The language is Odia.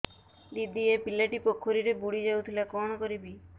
ଦିଦି ଏ ପିଲାଟି ପୋଖରୀରେ ବୁଡ଼ି ଯାଉଥିଲା କଣ କରିବି